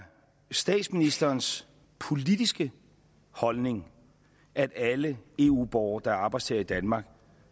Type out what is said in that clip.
statsministerens politiske holdning at alle eu borgere der er arbejdstagere i danmark